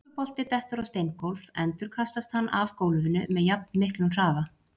Ef slíkur bolti dettur á steingólf endurkastast hann af gólfinu með jafnmiklum hraða.